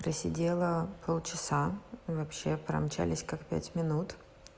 просидела полчаса и вообще промчались как пять минут